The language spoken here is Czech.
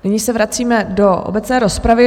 Nyní se vracíme do obecné rozpravy.